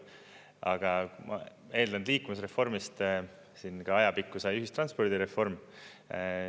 Aga ma eeldan, et liikuvusreformist siin ajapikku sai ühistranspordireform.